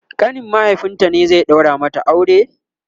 ƙanin mahaifinta ne zai daura mata aure?